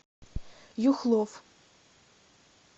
юхлов